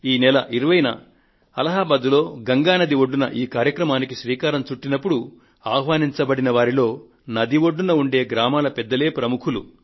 ఈ నెల 20న అలహాబాద్ లో గంగానది ఒడ్డున ఈ కార్యక్రమానికి శ్రీకారం చుట్టినపుడు ఆహ్వానింపబడిన వారిలో నది ఒడ్డున ఉండే పెద్దలే ప్రముఖులు